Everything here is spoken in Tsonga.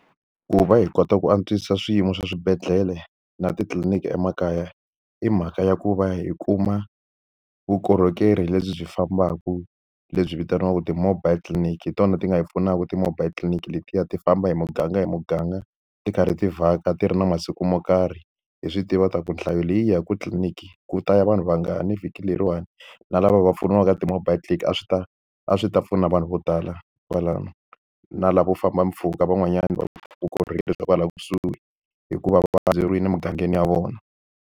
Ku va hi kota ku antswisa swiyimo swa swibedhlele na titliliniki emakaya hi mhaka ya ku va hi kuma vukorhokeri lebyi byi fambaka lebyi vitaniwaka ti-mobile clinic. Hi tona ti nga hi pfunaka ti-mobile clinic letiya ti famba hi muganga hi muganga, ti karhi ti vhaka ti ri na masiku mo karhi. Hi swi tiva leswaku nhlayo leyi yi yaka tliliniki, ku ta ya vanhu va nga ni vhiki leriwani. Na lava va pfuniwaka ti-mobile a swi ta a swi ta pfuna vanhu vo tala kwalano, na lavo famba mpfhuka van'wanyani va vukorhokeri bya kwala kusuhi hikuva va emugangeni ya vona.